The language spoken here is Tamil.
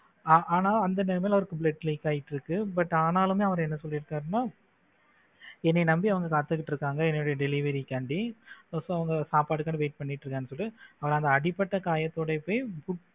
ஆனா அந்த நேரத்துல அவருக்கு blood leak ஆயிட்டு இருக்கு but ஆனாலுமே அவரை என்ன சொல்லி இருக்காருன்னா என்ன நம்பி அவங்க காத்துகிட்டு இருக்காங்க என்னுடைய delivery காண்டி அப்ப அவங்க சாப்பாட்டுக்காக wait பண்ணிட்டு இருக்காங்க அவன் அடிபட்ட காயத்தோடு போய்